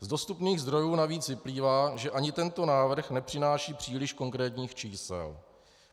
Z dostupných zdrojů navíc vyplývá, že ani tento návrh nepřináší příliš konkrétních čísel.